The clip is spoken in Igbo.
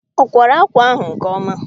Ọ kwàrà ákwà ahụ nke ọma?